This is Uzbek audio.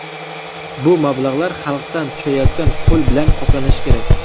Bu mablag‘lar xalqdan tushayotgan pul bilan qoplanishi kerak.